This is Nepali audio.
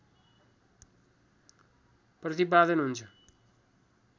प्रतिपादन हुन्छ